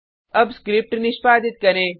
अब स्क्रिप्ट निष्पादित करें